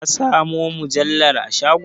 Ka samo mujallar a shagon?